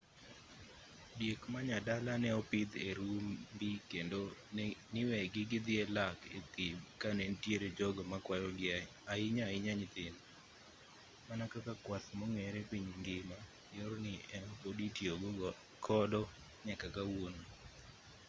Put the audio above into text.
diek manyadala neopidh e rumbi kendo niwegi gidhi lak a thim kanenitiere jogo makwayogi ahinya ahinya nyithindo mana kaka kwath mong'ere piny ngima yorni ema podi itiyo godo nyaka kawuono